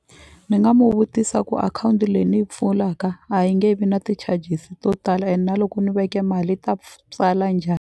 Ni nga mu vutisa ku akhawunti leyi ni yi pfulaka a yi nge vi na ti-charges to tala and na loko ni veke mali yi ta tswala njhani.